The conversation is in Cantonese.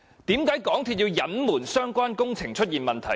為何港鐵公司要隱瞞相關工程出現問題？